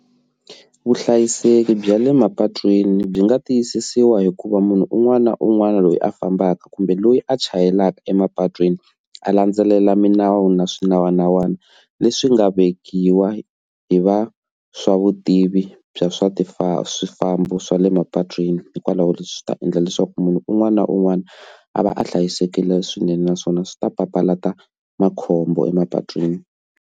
Vuhlayiseki bya le mapatwini byi nga tiyisisiwa hikuva munhu un'wana na un'wana loyi a fambaka kumbe loyi a chayelaka emapatwini a landzelela milawu na swinawana n'wana leswi nga vekiwa hi va swa vutivi bya swa swifambo swifambo swa le mapatwini hikwalaho leswi ta endla leswaku munhu un'wana na un'wana a va a hlayisekile swinene naswona swi ta papalata makhombo emapatwini.